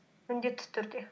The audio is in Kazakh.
міндетті түрде